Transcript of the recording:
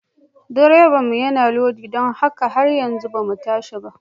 Direbanmu yana lodi don haka har yanzu ba mu tashi ba.